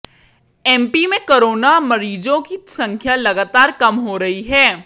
MP में corona मरीजों की संख्या लगातार कम हो रही है